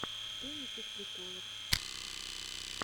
что есть из приколов